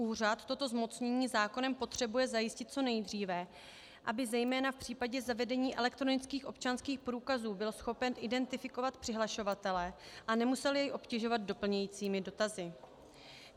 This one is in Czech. Úřad toto zmocnění zákonem potřebuje zajistit co nejdříve, aby zejména v případě zavedení elektronických občanských průkazů byl schopen identifikovat přihlašovatele a nemusel jej obtěžovat doplňujícími dotazy.